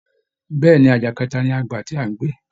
Bẹ́ẹ̀ ni, àjà kẹta ni a gbà tí à ń gbé